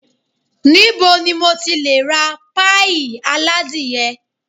Ni bo ni mo ti lè ra páíì aládìyẹ?